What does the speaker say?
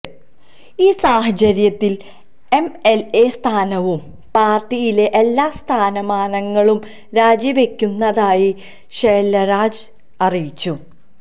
ഈ സാഹചര്യത്തില് M L A സ്ഥാനവും പാര്ട്ടിയിലെ എല്ലാ സ്ഥാനമാനങ്ങളും രാജിവെക്കുന്നതായി ശെല്വരാജ് അറിയിച്ചു